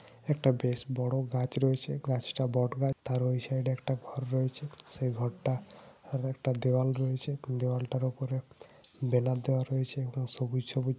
একটা বেশ বড়ো গাছ রয়েছে গাছ টা বট গাছ তার ওই সাইড এ একটা ঘর রয়েছে সেই ঘর টা আর একটা দেওয়াল রয়েছে দেওয়াল টার ওপরে ব্যানার দাওয়া রয়েছে একদম সবুজ সবুজ ।